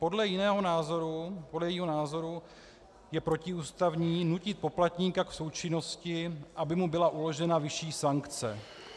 Podle jejího názoru je protiústavní nutit poplatníka k součinnosti, aby mu byla uložena vyšší sankce.